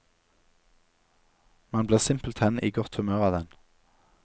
Man blir simpelthen i godt humør av den.